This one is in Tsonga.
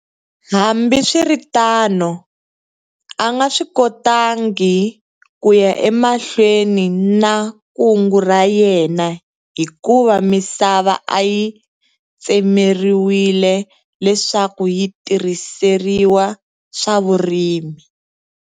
Hambiswiritano, a nga swi kotangi ku ya emahlweni na kungu ra yena hikuva misava a yi tsemeriwile leswaku yi tirhiseriwa swa vurimi.